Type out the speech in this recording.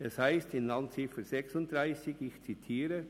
Es heisst in der Randziffer 36: